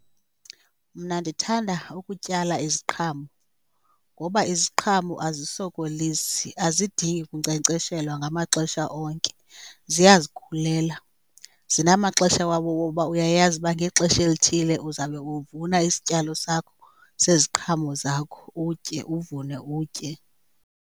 Mna ndithanda ukutyala iziqhamo ngoba iziqhamo azisokolisi, azidingi kunkcenkceshelwa ngamaxesha onke ziyazikhulela. Zinamaxesha wabo woba uyayazi uba ngexesha elithile uzabe uvuna isityalo sakho seziqhamo zakho, utye. Uvune utye.